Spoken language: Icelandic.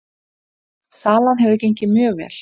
Salan hefur gengið mjög vel